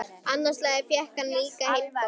Annað slagið fékk hann líka heimboð.